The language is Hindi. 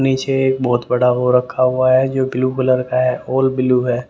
नीचे बहुत बड़ा वो रखा हुआ है जो ब्लू कलर का है ऑल ब्लू है ।